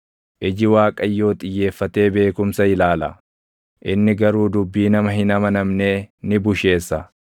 Iji Waaqayyoo xiyyeeffatee beekumsa ilaala; inni garuu dubbii nama hin amanamnee ni busheessa.